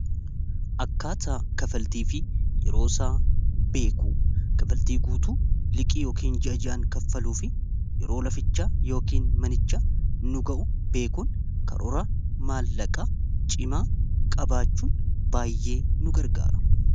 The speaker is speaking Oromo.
akkaataa kafaltii fi yeroo isaa beeku kafaltii guutuu liqii yookiin ji'a ji'aan kaffaluu fi yeroo laficha yookiin manicha nu ga'u beekuun karoora maallaqaa cimaa qabaachuun baay'ee nu gargaara